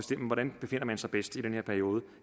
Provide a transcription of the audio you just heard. man befinder sig bedst i den her periode